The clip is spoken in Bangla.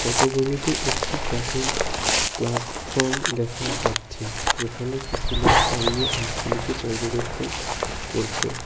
পটভূমিতে একটি কাঠের প্লাটফর্ম দেখা যাচ্ছে যেখানে কিছু লোক দাঁড়িয়ে হাঁসগুলিকে পর্যবেক্ষণ করছে।